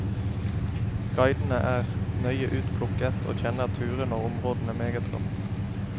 Guidene er nøye utplukket og kjenner turene og områdene meget godt.